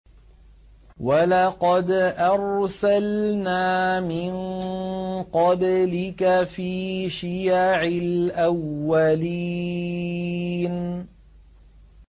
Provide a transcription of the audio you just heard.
وَلَقَدْ أَرْسَلْنَا مِن قَبْلِكَ فِي شِيَعِ الْأَوَّلِينَ